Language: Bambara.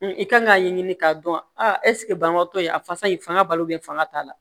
I kan k'a ɲɛɲini k'a dɔn a ɛsike banabatɔ ye a fasa in fanga balo be fanga t'a la